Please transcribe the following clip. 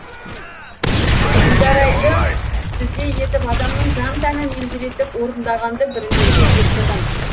дударайды сіздей етіп адамның жан тәнін елжіретіп орындағанды бірінші рет естідім